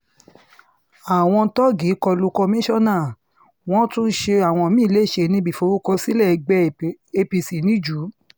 àwọn tóògì kọ lu kọ́míkànnà wọ́n tún ṣe àwọn mí-ín lẹ́sẹ̀ níbi ìforúkọsílẹ̀ ẹgbẹ́ apc niju